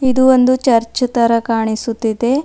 ಇದು ಒಂದು ಚರ್ಚ್ ತರ ಕಾಣಿಸುತ್ತಿದೆ.